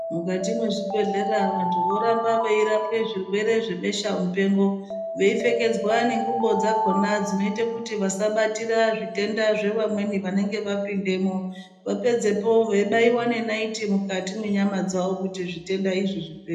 Mukati mwezvibhedhlera vanthu voramba veirapwe zvirwere zvebesha mupengo veipfekedzwa nengubo dzakona dzinoita kuti vasabatira zvitenda zvevamweni vanenge vapindamwo vapedzepo veibaiwa nenaiti mukati mwenyama dzao kuti zvutenda izvi zvipere.